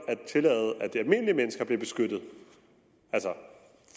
at tillade at almindelige mennesker bliver beskyttet altså